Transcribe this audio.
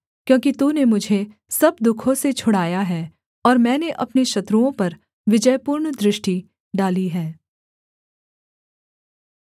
क्योंकि तूने मुझे सब दुःखों से छुड़ाया है और मैंने अपने शत्रुओं पर विजयपूर्ण दृष्टि डाली है